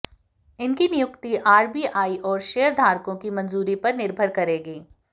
इनकी नियुक्ति आरबीआई और शेयरधारकों की मंजूरी पर निर्भर करेगी